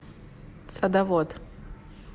садовод